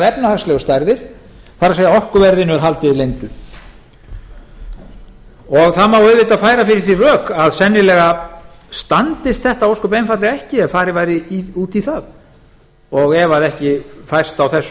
efnahagslegu stærðir það er orkuverðinu er haldið leyndu það má auðvitað færa fyrirvvþí rök að sennilega standist þetta ósköp einfaldlega ekki ef farið væri út í það ef ekki fæst á þessu